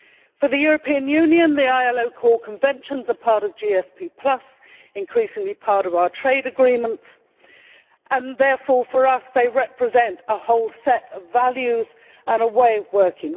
For the European Union, the ILO core Conventions are part of GSP, increasingly part of our trade agreements and therefore, for us, they represent a whole set of values and a way of working.